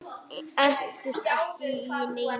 Og entist ekki í neinu.